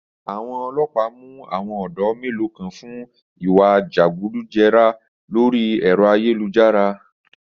Àwọn ọlọpà mú àwọn ọ̀dọ́ melo kan fún ìwá jẹgúdújẹrá lórí ẹ̀rọ ayélujára